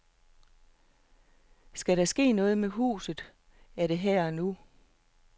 Skal der ske noget med huset, er det her og nu.